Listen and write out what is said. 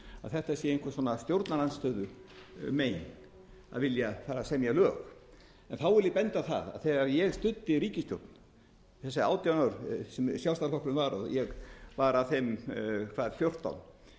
að þetta sé eitthvað stjórnarandstöðumein að vilja semja lög en þá vil ég benda á að þegar ég studdi ríkisstjórn þessi átján ár sem sjálfstæðisflokkurinn var og ég var af þeim í